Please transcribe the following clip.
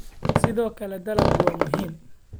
Sidoo kale, dalaggu waa muhiim.